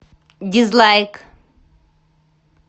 дизлайк